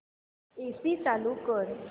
AC चालू कर